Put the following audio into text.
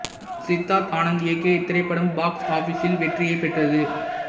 சித்தார்த் ஆனந்த் இயக்கிய இத்திரைப்படம் பாக்ஸ் ஆபீஸில் வெற்றியைப் பெற்றது